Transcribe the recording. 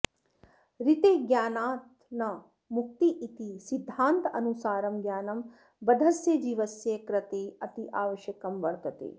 ऋते ज्ञानान्न मुक्तिरिति सिद्धान्तानुसारं ज्ञानं बद्धस्य जीवस्य कृते अत्यावश्यकं वर्तते